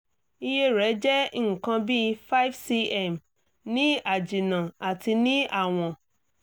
iye rẹ̀ jẹ́ nǹkan bí 5 cm ní àjìnnà àti ní àwọ̀n